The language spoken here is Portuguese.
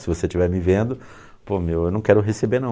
Se você estiver me vendo, pê meu, eu não quero receber não.